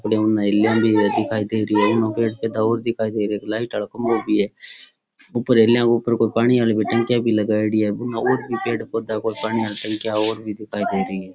उन हेलिया भी दिखाई दे रही है उनने पैड पोधा और दिखाई दे रहे है लाइट आलो खम्भों भी है ऊपर हेलीया ऊपर को पानी वाली टंकियां भी लगायेडी है और भी पेड़ पौधों पानी वाली टंकियां और भी दिखाई दे रही है।